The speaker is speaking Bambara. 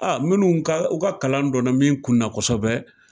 minnu ka, u ka kalan donna min kun na kosɛbɛ